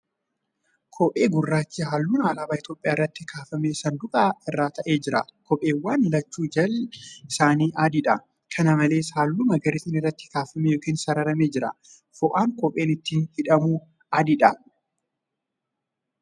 Kophee gurraachi halluun alaabaa Itoophiyaa irratti kaafame sanduuqa irra taa'ee jira. Kopheewwan lachuu jalli isaanii adiidha. Kana malees, halluu magariisni irratti kaafamee ykn sararamee jira. Foo'aan kopheen ittiin hidhamu adiidha.